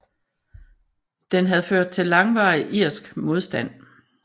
Den havde ført til langvarig irsk modstand